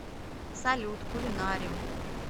салют кулинарим